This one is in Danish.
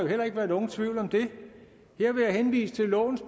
heller ikke være nogen tvivl om det her vil jeg henvise til lovens